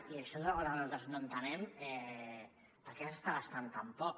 i això és una cosa que nosaltres no entenem per què s’està gastant tan poc